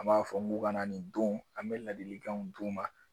An b'a fɔ mokana nin don an bɛ ladilikanw d'u ma